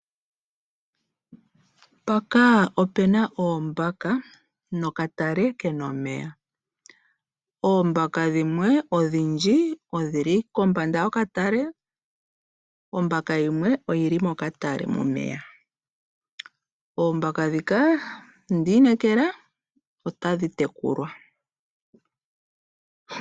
Mpaka opena oombaka nokatale ke na omeya. Oombaka dhimwe odhindji odhili kombanda yokatale, ombaka yimwe oyili mokatale momeya. Oombaka dhika ondiinekela otadhi tekulwa.